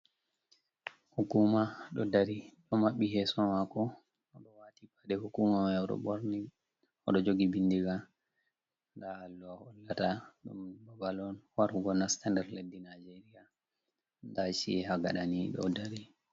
"Hukuuma" ɗo dari ɗo maɓɓi yeeso maako, o ɗo waati paɗe "hukuuma" may. O ɗo ɓorni, o ɗo jogi binndiga. Ndaa allowa hollata ɗum babal on warugo nasta nder leddi Naajeerya ndaa ci'e ha gaɗa nii ɗo dari.